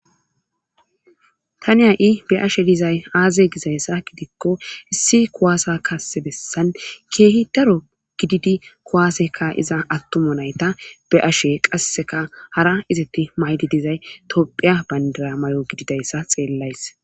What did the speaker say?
Tani ha'i be'ashshe dizay aaze gizayssa gidikko issi kuwaasa kasse bessan keehi daro gididi kuwaase ka7iza attumo nayta be'ashe qasseka hara izatti maydi dizay tophphiya bayndara mayo gididayssa xeellays